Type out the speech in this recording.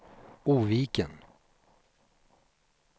Oviken